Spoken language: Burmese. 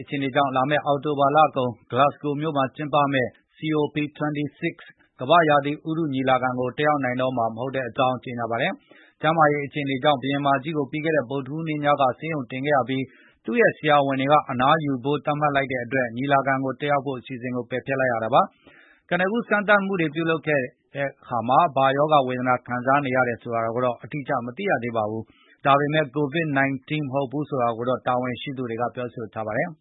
အခြေအနေကြောင့် လာမယ့် အောက်တိုဘာကုန်၊ ဂလပ်စဂိုမြို့မှာကျင်းပမယ့် COP26 ကမ္ဘာရာသီဥတု ညီလာခံမှာ ကိုတက်ရောက်မယ့်အစီစဉ်ကို ပယ်ဖျက်လိုက်ရပါတယ်။ ကျမ်းမာရေးအခြေအနေကြောင့် ဘုရင်မကြီးကို ပြီးခဲ့တဲ့ ဗုဒ္ဓဟူးနေ့ညက ဆေးရုံတင်ခဲ့ရပြီး၊ သူရဲ့ ဆရာဝန်က အနားယူဖို့ သတ်မှတ်လိုက်တဲ့အတွက် ဒီညီလာခံကို တက်ရောက်မယ့်အစီစဉ် ပယ်ဖျက် လိုက်ရတာပါ။ ကနဦးစမ်းသပ်မှုတွေတော့ပြုလုပ်ခဲ့ပေမယ့် ဘာရောဂါဝေဒနာခံစားနေရတယ်ဆိုတာ မသိရသေးပါဘူး၊ ဒါပေမယ့် ကိုဗစ် ၁၉ တော့မဟုတ်ဘူးလို့တာဝန်ရှိသူတွေကပြောဆိုထားပါတယ်